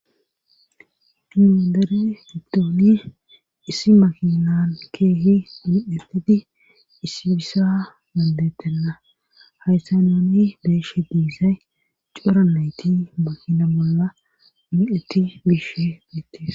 diedere hiddooni issi makinan keehi di7etedi issibisa bandettenna hayssa noni beeshe diisay coranayti makina bolla mi7eti biishe gettes